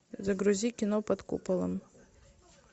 загрузи кино под куполом